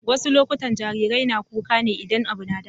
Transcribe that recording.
Wasu lokutan jarirai na kuka ne idan abu na damun su.